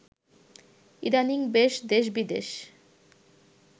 ইদানিং বেশ দেশবিদেশ